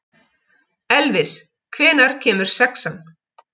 Elvis, hvenær kemur sexan?